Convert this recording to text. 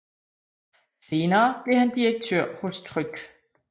Senere blev han direktør hos Tryg